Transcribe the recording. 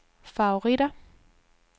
favoritter